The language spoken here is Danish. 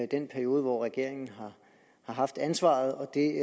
den periode hvor regeringen har haft ansvaret og det